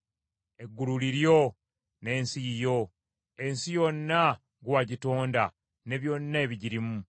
Eggulu liryo, n’ensi yiyo; ensi yonna gwe wagitonda ne byonna ebigirimu.